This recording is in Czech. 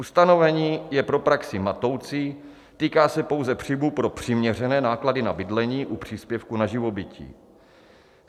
Ustanovení je pro praxi matoucí, týká se pouze příjmů pro přiměřené náklady na bydlení u příspěvku na živobytí.